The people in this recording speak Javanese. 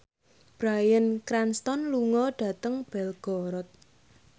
Bryan Cranston lunga dhateng Belgorod